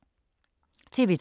TV 2